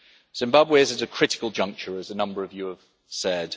Zimbabwe is at a critical juncture, as a number of you have said.